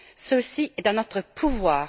Ceci est dans notre pouvoir.